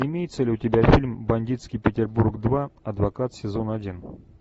имеется ли у тебя фильм бандитский петербург два адвокат сезон один